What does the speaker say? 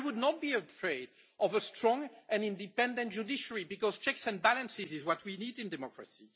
I would not be afraid of a strong and independent judiciary, because checks and balances is what we need in democracy.